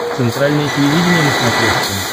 центральное телевидение на смотрешке